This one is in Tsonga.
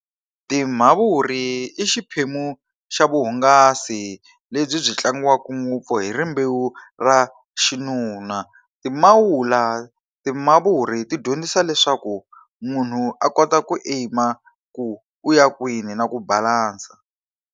Timavuri i xiphemu xa vuhungasi lebyi byi tlangiwaka ngopfu hi rimbewu ra xinuna. Timawula timavuri ti dyondzisa leswaku munhu a kota ku aim-a ku u ya kwini na ku balansa.